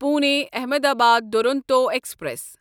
Pune Ahmedabad Duronto express